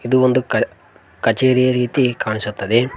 ಇದು ಒಂದು ಕ ಕಚೇರಿಯ ರೀತಿ ಕಾಣಿಸುತ್ತದೆ.